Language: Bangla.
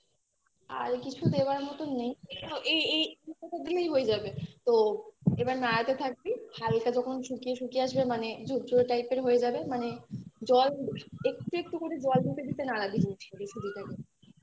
আর কিছু দেওয়ার মতন নেই এই এই কিছুটা হয়ে যাবে তো এবার নাড়াতে থাকবি হালকা যখন শুকিয়ে শুকিয়ে আসবে মানে ঝুরঝুরে type এর হয়ে যাবে মানে জল একটু একটু করে জল দিতে দিতে নাড়াবি জিনিস টা বেশি দিতে হবে না